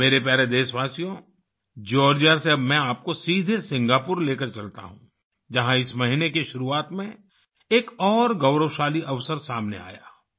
मेरे प्यारे देशवासियो जॉर्जिया से अब मैं आपको सीधे सिंगापुर लेकर चलता हूँ जहाँ इस महीने की शुरुआत में एक और गौरवशाली अवसर सामने आया